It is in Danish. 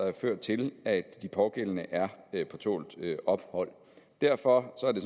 har ført til at de pågældende er på tålt ophold derfor er det